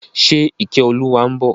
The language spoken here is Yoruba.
Ṣe Ìkẹ́olúwa ń bọ̀?